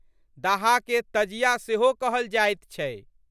दाहाके तजिया सेहो कहल जाइत छै।